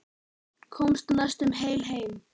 Komst næstum heil heim.